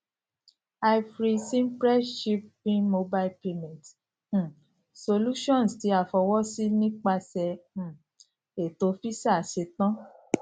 iveri s mpress chip pin mobile payments um solutions ti a fọwọsi nipasẹ um eto visa ṣetan